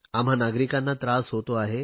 आम्हा नागरिकांना त्रास होतो आहे